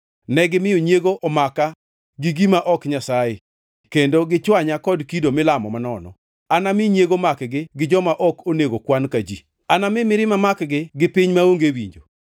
negimiyo nyiego omaka gi gima ok Nyasaye kendo gichwanya kod kido milamo manono. Anami nyiego makgi gi joma ok onego kwan ka ji; anami mirima makgi gi piny maonge winjo.